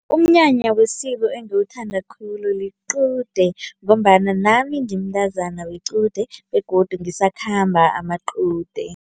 Umnyanya wesiko engiwuthanda khulu liqude ngombana nami ngimntazana wequde begodu ngisakhamba amaqude.